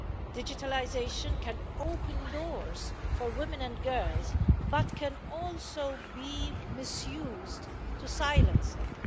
Digitalisation can open doors for women and girls, but can also be misused to silence them.